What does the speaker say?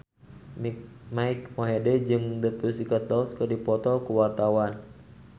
Mike Mohede jeung The Pussycat Dolls keur dipoto ku wartawan